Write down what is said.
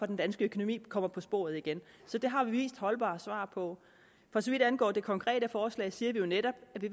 den danske økonomi kommer på sporet igen så det har vi givet holdbare svar på for så vidt angår det konkrete forslag siger vi jo netop at vi